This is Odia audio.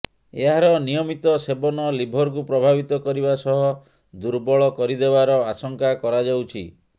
ଏହାର ନିୟମିତ ସେବନ ଲିଭରକୁ ପ୍ରଭାବିତ କରିବା ସହ ଦୁର୍ବଳ କରିଦେବାର ଆଶଙ୍କା କରାଯାଉଛି